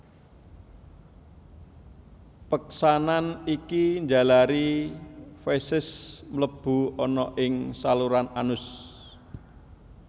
Peksanan iki njalari feses mlebu ana ing saluran anus